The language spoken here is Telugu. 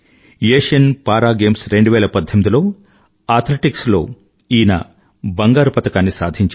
ఆసియన్ పారా Games2018లో అథ్లెటిక్స్ లో ఈయన బంగారుపతకాన్ని సాధించారు